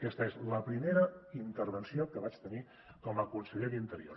aquesta és la primera intervenció que vaig tenir com a conseller d’interior